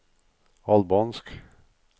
albansk